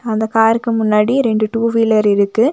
அந்த காருக்கு முன்னாடி ரெண்டு டூ வீலர் இருக்கு.